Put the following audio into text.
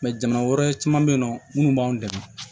jamana wɛrɛ caman be yen nɔ munnu b'an dɛmɛ